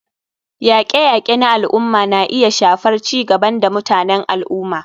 Yaƙe-yaƙe na al'umma na iya shafar ci gaban da mutanen al'umma.